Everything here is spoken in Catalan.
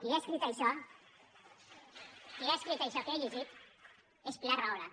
qui ha escrit això ments) qui ha escrit això que he llegit és pilar rahola